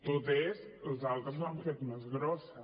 tot és els altres l’han fet més grossa